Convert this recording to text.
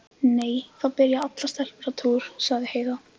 Nei, það byrja allar stelpur á túr, sagði Heiða.